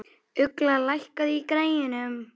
Ugla, lækkaðu í græjunum.